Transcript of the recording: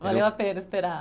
Valeu a pena esperar.